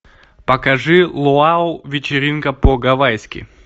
покажи луау вечеринка по гавайски